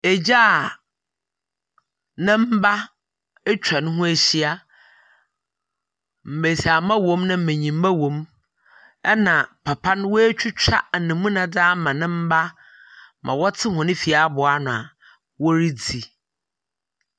Egya a ne mba etwa noho ehyia. Mbesiamba wɔ mu, na mbenyimba wɔ mu, na papa no woetwitwa anamuna dze ama ne mba ma wɔtse hɔn fie abow ano a woridzi.